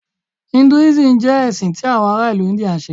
Hinduism jẹ ẹsin ti awọn ara ilu India nṣe.